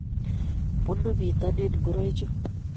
Bunu bitonin ngoroichu